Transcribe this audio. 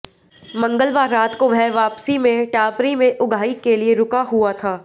मंगलवार रात को वह वापसी में टापरी में उगाही के लिए रुका हुआ था